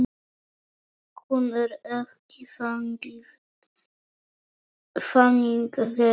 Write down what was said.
Hún er ekki þannig gerð.